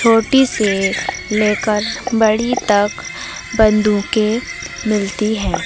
छोटी से लेकर बड़ी तक बंदूकें मिलती है।